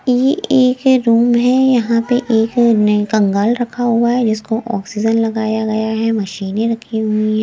ये एक रूम है यहां पे एक कंगाल रखा हुआ है जिसको ऑक्सीजन लगाया गया है मशीने रखी हुई है।